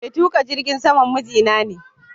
Mai tuƙa jirgin saman miji na ne.